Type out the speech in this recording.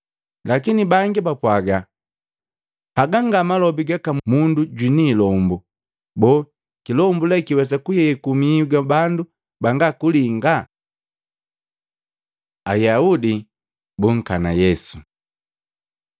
Lakini bangi bapwaga, “Haga nga malobi gaka mundu jwiniilombo. Boo kilombu lee kiwesa kuyeku mihu ga bandu banga kulinga?” Ayaudi bunkana Yesu